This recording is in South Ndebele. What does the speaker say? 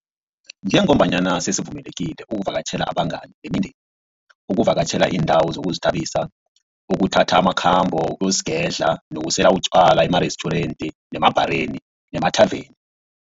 Njengombana sesivumelekile ukuvakatjhela abangani nemindeni, ukuvakatjhela iindawo zokuzithabisa, ukuthatha amakhambo wokuyozigedla nokusela utjwala emarestjurenti, emabhareni nemathaveni.